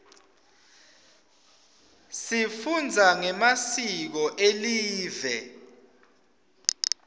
sifunza ngemasiko elive